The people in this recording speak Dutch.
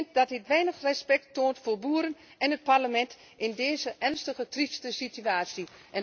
Ik vind dat dit van weinig respect getuigt voor boeren en het Parlement in deze ernstige, trieste situatie.